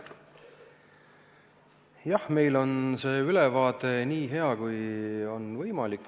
Jah, meil on see ülevaade nii hea, kui minu arvates on võimalik.